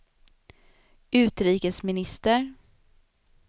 utrikesminister